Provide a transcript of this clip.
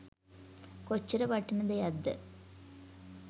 කොච්චර වටින දෙයක්ද.